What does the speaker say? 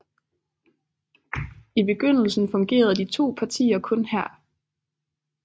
I begyndelsen fungerede de to partier kun her